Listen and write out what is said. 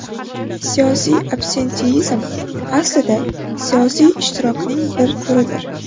Siyosiy absenteizm aslida siyosiy ishtirokning bir turidir.